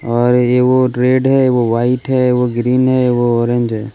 और ये वो रेड है वो व्हाइट है वो ग्रीन है वो ऑरेंज है.